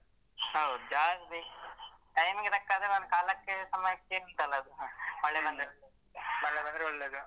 ಹೌದು ಜಾಗ ಬೇಕು time ಗೆ ತಕ್ಕ ಕಾಲಕ್ಕೆ ಸಮಯಕ್ಕೆ ಉಂಟಾಲಾ ಅದು ಮಳೆ ಬಂದದ್ದು ಮಳೆ ಬಂದ್ರೆ ಒಳ್ಳೇದು.